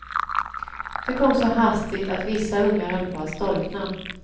Det kom så hastigt att vissa ungar höll på att storkna.